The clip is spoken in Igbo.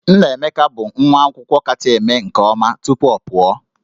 Nnaemeka bụ nwa akwụkwọ kacha eme nke ọma tupu ọ pụọ